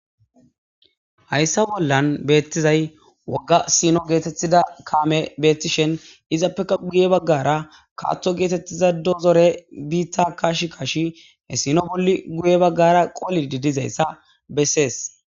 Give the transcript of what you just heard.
Haysa bollan betizaysi woga sino getetiza kamey betishin izapeka guye bagara Kato getetiza dozerey bita kashi kashi sino bola guye bagara qolidi dizaysa beses